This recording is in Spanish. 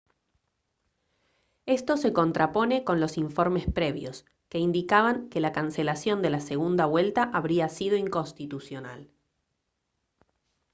esto se contrapone con los informes previos que indicaban que la cancelación de la segunda vuelta habría sido inconstitucional